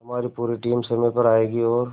हमारी पूरी टीम समय पर आएगी और